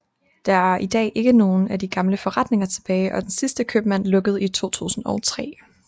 Der er i dag ikke nogle af de gamle forretninger tilbage og den sidste købmand lukkede i 2003